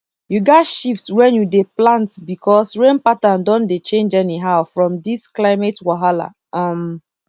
you gats shift when you dey plant because rain pattern don dey change anyhow from this climate wahala um